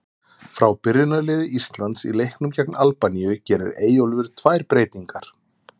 Frá byrjunarliði Íslands í leiknum gegn Albaníu gerir Eyjólfur tvær breytingar.